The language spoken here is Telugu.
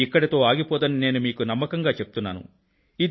ఇది ఇక్కడితో ఆగిపోదని నేను మీకు నమ్మకంగా చెప్తున్నాను